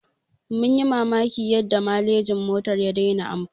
Mun yi mamakin yadda malejin motar ya dena amfani